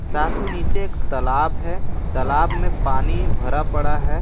साथ ही नीचे एक तालाब है तालाब में पानी भरा पड़ा है।